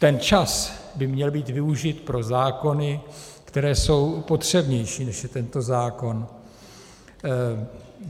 Ten čas by měl být využit pro zákony, které jsou potřebnější, než je tento zákon.